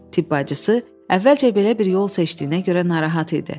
Tibb bacısı əvvəlcə belə bir yol seçdiyinə görə narahat idi.